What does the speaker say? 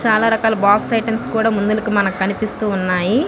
చాలా రకాల box items కూడా ముందలకి మనకి కనిపిస్తున్నాయి.